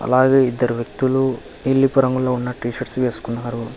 అలాగే ఇద్దరు వ్యక్తులు నీలపు రంగులో ఉన్న టీ షర్ట్స్ వేసుకున్నారు.